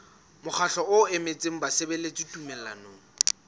mokgatlo o emetseng basebeletsi tumellanong